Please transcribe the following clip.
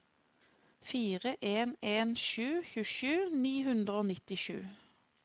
fire en en sju tjuesju ni hundre og nittisju